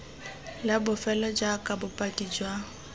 la bofelo jaaka bopaki jwa